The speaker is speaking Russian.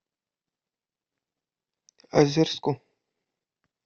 озерску